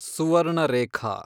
Subarnarekha